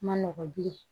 Ma nɔgɔ bilen